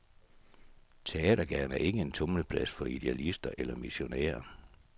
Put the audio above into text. Teatergaden er ikke en tumleplads for idealister eller missionærer.